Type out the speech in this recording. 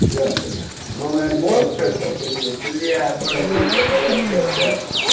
что ты новый альбом что ли сочинил бля братуха давай братан